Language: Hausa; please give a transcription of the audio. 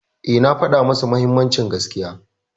Eh, na faɗa musu mahimmancin gaskiya.